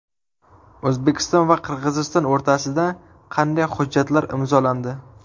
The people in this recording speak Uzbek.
O‘zbekiston va Qirg‘iziston o‘rtasida qanday hujjatlar imzolandi?.